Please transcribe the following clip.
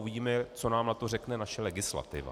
Uvidíme, co nám na to řekne naše legislativa.